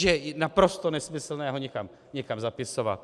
Že je naprosto nesmyslné ho někam zapisovat.